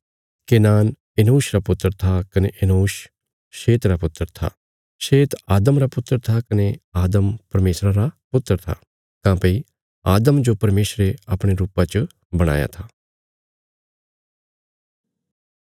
Kenan Enosh रा पुत्र था कने इनोश शेत रा पुत्र था शेत आदम रा पुत्र था कने आदम परमेशरा रा पुत्र था काँह्भई आदम जो परमेशरे अपणे रुपा च बणाया था